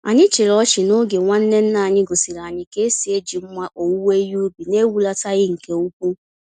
Anyị chịrị ọchị n'oge nwanne nna anyị gosiri anyị ka esi eji mma owuwe ihe ubi, na-ehulataghị nke úkwú.